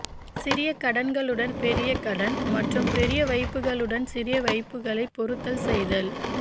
சிறிய கடன்களுடன் பெரிய கடன் மற்றும் பெரிய வைப்புகளுடன் சிறிய வைப்புகளை பொருத்தல் செய்தல்